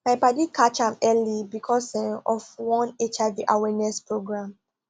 my padi catch am early because um of one hiv awareness program